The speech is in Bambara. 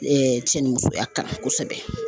cɛ ni musoya kalan kosɛbɛ.